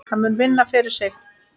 Það mun vinna fyrir þig.